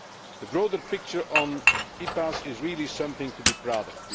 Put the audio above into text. The broader picture on EPAs is really something to be proud of.